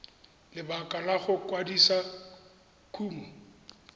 lebaka la go kwadisa kumo